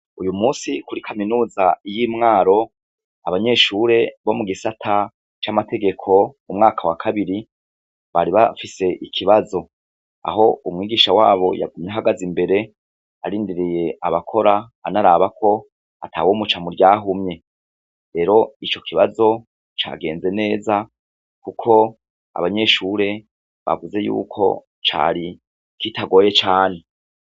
Uyu munsi kuri kaminuza y'i Mwaro, abanyeshure bo mu gisata c'amategeko umwaka wa kabiri, bari bafise ikibazo, aho umwigisha wabo yagumye ahagaze imbere arindiriye abakora anaraba ko atawomuca mu ryahumye, rero ico kibazo cagenze neza kuko abanyeshure bavuze yuko cari kitagoye cane.